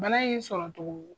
Bana in sɔrɔ togo